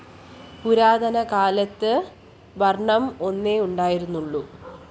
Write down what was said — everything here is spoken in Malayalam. പുരാതനകാലത്ത് വര്‍ണ്ണം ഒന്നേ ഉണ്ടായിരുന്നുള്ളു